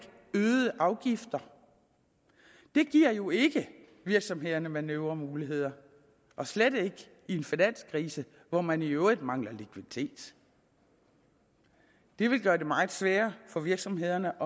øgede afgifter det giver jo ikke virksomhederne manøvremuligheder og slet ikke i en finanskrise hvor man i øvrigt mangler likviditet det vil gøre det meget sværere for virksomhederne